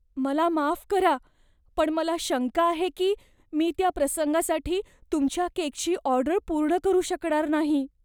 मला माफ करा, पण मला शंका आहे की मी त्या प्रसंगासाठी तुमच्या केकची ऑर्डर पूर्ण करू शकणार नाही.